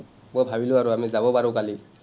মই ভাবিলো আৰু আমি, যাব পাৰোঁ কালি।